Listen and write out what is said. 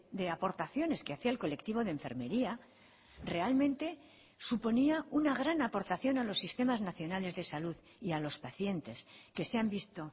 de aportaciones que hacía el colectivo de enfermería realmente suponía una gran aportación a los sistemas nacionales de salud y a los pacientes que se han visto